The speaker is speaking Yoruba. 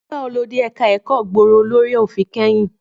Nígbà wo lo dé ẹ̀ka ẹ̀kọ́ gbòòrò lórí òfin kẹ́yìn?